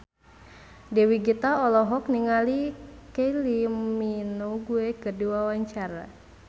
Dewi Gita olohok ningali Kylie Minogue keur diwawancara